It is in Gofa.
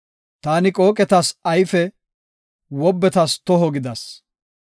Taani qooqetas ayfe, wobbetas toho gidas.